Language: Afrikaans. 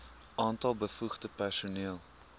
aantal bevoegde personeel